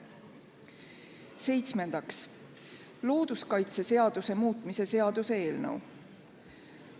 Seitsmendaks, looduskaitseseaduse muutmise seaduse eelnõu.